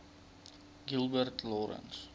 gilbert lawrence